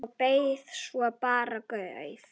Og bið svo bara guð.